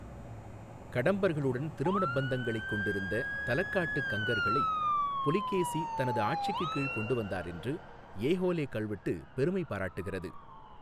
கடம்பர்களுடன் திருமணப் பந்தங்களைக் கொண்டிருந்த தலக்காட்டு கங்கர்களை புலிகேசி தனது ஆட்சிக்குக் கீழ் கொண்டுவந்தார் என்று ஏஹோலே கல்வெட்டு பெருமை பாராட்டுகிறது.